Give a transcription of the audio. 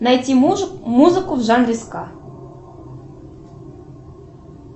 найти музыку в жанре ска